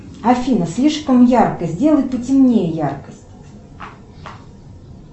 афина слишком ярко сделай потемнее яркость